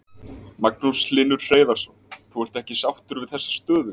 Magnús Hlynur Hreiðarsson: Þú ert ekki sáttur við þessa stöðu?